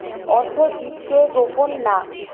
অর্ধ জীতকে গোপন না